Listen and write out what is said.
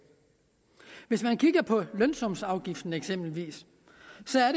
hvis man kigger på lønsumsafgiften eksempelvis